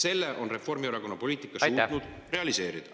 Selle on Reformierakonna poliitika suutnud realiseerida.